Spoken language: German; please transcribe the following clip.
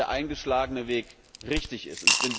Dies zeigt, dass der eingeschlagene Weg richtig ist.